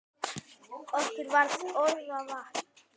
Okkur var orða vant.